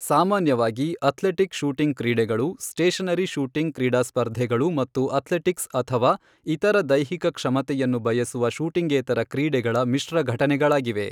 ಸಾಮಾನ್ಯವಾಗಿ athletic shooting ಕ್ರೀಡೆಗಳು stationary shooting ಕ್ರೀಡಾ ಸ್ಪರ್ಧೆಗಳು ಮತ್ತು ಅಥ್ಲೆಟಿಕ್ಸ್ ಅಥವಾ ಇತರ ದೈಹಿಕ ಕ್ಷಮತೆಯನ್ನು ಬಯಸುವ ಶೂಟಿಂಗೇತರ ಕ್ರೀಡೆಗಳ ಮಿಶ್ರ ಘಟನೆಗಳಾಗಿವೆ.